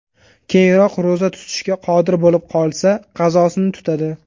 Keyinroq ro‘za tutishga qodir bo‘lib qolsa, qazosini tutadi.